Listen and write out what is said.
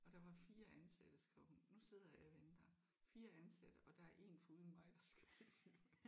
Og der var 4 ansatte skrev hun nu sidder jeg og venter. 4 ansatte og der er en foruden mig der skal se den